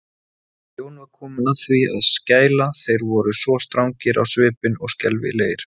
Jón var kominn að því að skæla, þeir voru svo strangir á svipinn og skelfilegir.